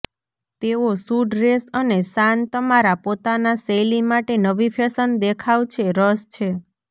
તેઓ શું ડ્રેસ અને શાન તમારા પોતાના શૈલી માટે નવી ફેશન દેખાવ છે રસ છે